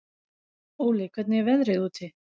Óli, hvernig er veðrið úti?